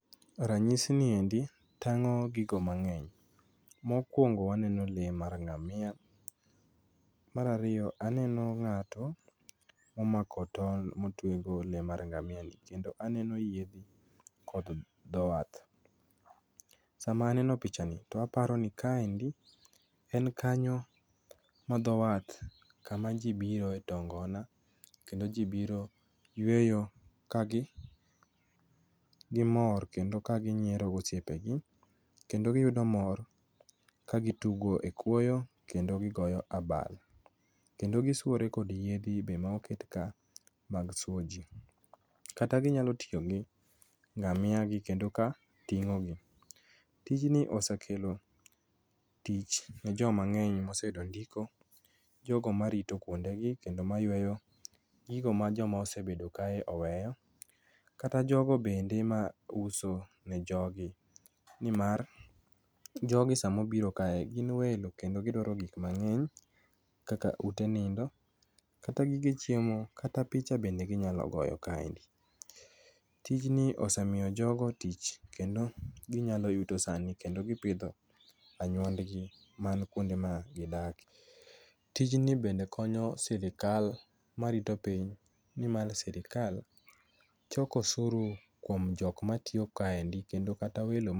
Ranyisi ni endi tang'o gik mang'eny. Mokuongo waneno lee mar ngamia, mar ariyo aneno ng'ato omako tol motwe go le mar ngamiani, kendo aneno yiedhi kod dho wath. Sama aneno pichani to aparo ni kaendi en kanyo madho wath kama ji biro too ngona kendo ji biro yueyo ka gimor ka giyueyo gosiepegi kendo gimor kagitugo ekwoyo kendo gigoyo abal. Kendo gisuore kod yiedhi bende moket ka mag suoyoji. Kata ginyalo tiyo gi ngamia gi kendo ka ting'o gi. Tijni osekelo tich nejo mang'eny moseyudo ndiko jogo marito kuondegi kendo mayueyo gigo ma joma osebedo kae oweyo kata jogo bende mauso ne jogi nimar jogi sama obiro kae gin welo kendo gidwaro gik mang'eny kaka ute nindo kata gige chiemo kata picha bende ginyalo goyo kae. Tijni osemiyo jogo tich kendo ginyalo yuto sani kendo gipidho anyuondgi man kuonde magidakie. Tijni bende konyo sirikal marito piny nimar sirikal choko osuru kuom jok matiyo kaendi kendo kata welo